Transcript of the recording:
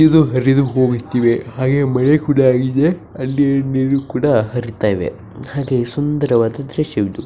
ಇದು ಹರಿದುಹೋಗುತ್ತಿವೆ ಹಾಗೆ ಮನೆ ಕೂಡ ಹಾಗಿದೆ ಹಾಗೆ ನೀರು ಕೂಡ ಹರಿತಿವೇ ಹಾಗೆ ಸುಂದರವಾದ ದೃಶ್ಯವಿದು.